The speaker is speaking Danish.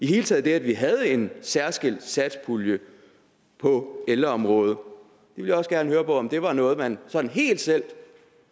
hele taget det at vi havde en særskilt satspulje på ældreområdet jeg vil også gerne høre om det var noget man sådan helt selv